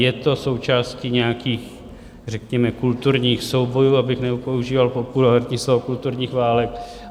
Je to součástí nějakých řekněme kulturních soubojů, abych nepoužíval populární slovo kulturních válek.